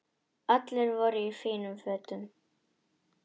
Allir voru í fínum fötum.